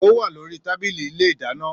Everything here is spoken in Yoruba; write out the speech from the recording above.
Ò wà lori tàbílì ìlé ìdàná.